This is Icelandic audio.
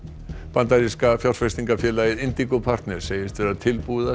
bandaríska fjárfestingarfélagið partners segist vera tilbúið